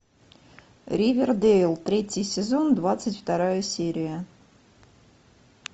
ривердейл третий сезон двадцать вторая серия